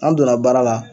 An donna baara la